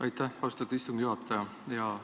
Aitäh, austatud istungi juhataja!